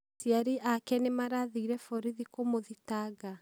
Aciari aake nĩmarathire borithi kũmũthitanga?